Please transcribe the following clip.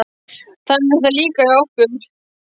Þannig er það líka hjá okkur.